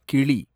கிளி